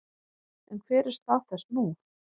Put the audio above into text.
En hver er stað þess nú?